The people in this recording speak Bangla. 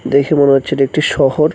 দেখে মনে হচ্ছে এটি একটি শহর।